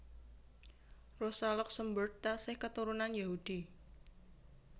Rosa Luxemburg taksih katurunan Yahudi